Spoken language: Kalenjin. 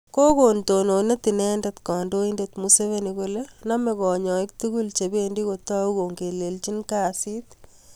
Kokon tononet inendent kandoindet museveni kole name kanyaik tugul chebendo kotau kongelelji kasiit